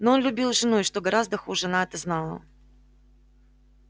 но он любил жену и что гораздо хуже она это знала